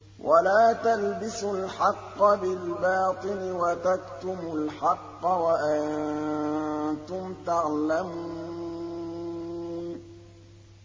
وَلَا تَلْبِسُوا الْحَقَّ بِالْبَاطِلِ وَتَكْتُمُوا الْحَقَّ وَأَنتُمْ تَعْلَمُونَ